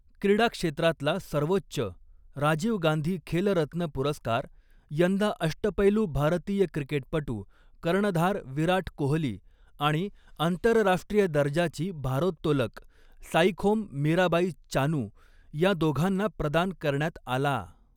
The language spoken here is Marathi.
क्रीडा क्षेत्रातला सर्वोच्च, राजीव गांधी खेलरत्न पुरस्कार यंदा अष्टपैलू भारतीय क्रिकेटपटू, कर्णधार विराट कोहली आणि आंतरराष्ट्रीय दर्जाची भारोत्तोलक साईखोम मीराबाई चानू या दोघांना प्रदान करण्यात आला.